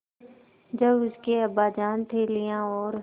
जब उसके अब्बाजान थैलियाँ और